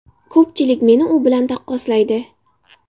Ko‘pchilik meni u bilan taqqoslaydi.